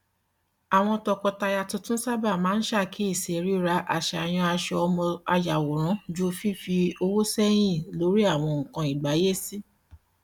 àwọn tọkọtaya tuntun sábà máa ń ṣàkíyèsí rírà àsàyàn aṣọ ọmọ àyàwòrán ju fífi owó sẹyìn lórí àwọn nnkan ìgbáyésí